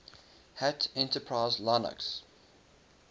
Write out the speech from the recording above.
hat enterprise linux